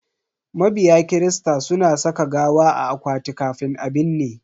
Mabiya kirista suna saka gawa a akwati kafin a binne.